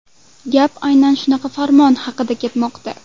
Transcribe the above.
Gap aynan shunaqa farmon haqida ketmoqda.